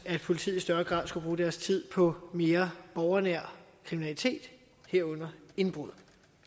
politiet i større grad skulle bruge deres tid på at mere borgernær kriminalitet herunder indbrud